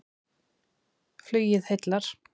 Flugið heillar